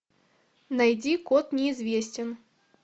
найди код неизвестен